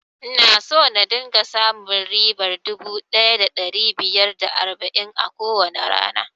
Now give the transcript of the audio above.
Ina so na dinga samun ribar dubu ɗaya da ɗari biyar da arba'in a kowane rana